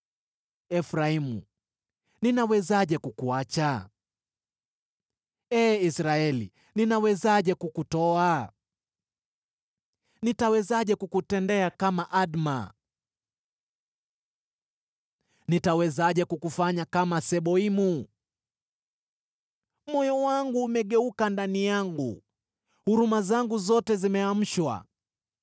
“Efraimu, ninawezaje kukuacha? Ee Israeli, ninawezaje kukutoa? Nitawezaje kukutendea kama Adma? Nitawezaje kukufanya kama Seboimu? Moyo wangu umegeuka ndani yangu, huruma zangu zote zimeamshwa.